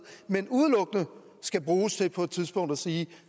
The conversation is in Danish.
men udelukkende skal bruges til på et tidspunkt at sige